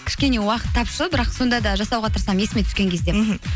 кішкене уақыт тапшы бірақ сонда да жасауға тырысамын есіме түскен кезде мхм